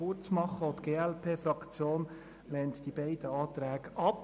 Auch die glp-Fraktion lehnt die beiden Anträge ab.